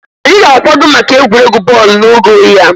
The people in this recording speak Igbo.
Anyị na-akwado maka egwuregwu bọọlụ n'oge oyi a